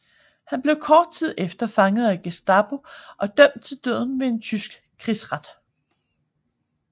Han blev kort tid efter fanget af Gestapo og dømt til døden ved en tysk krigsret